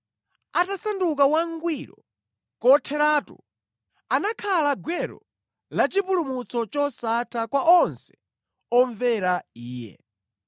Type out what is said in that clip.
Atasanduka wangwiro kotheratu, anakhala gwero la chipulumutso chosatha kwa onse omvera Iye.